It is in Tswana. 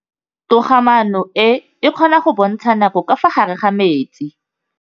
Toga-maanô e, e kgona go bontsha nakô ka fa gare ga metsi.